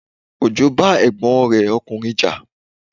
Ojo bá ẹ̀gbọ́n rẹ ọkùnrin ja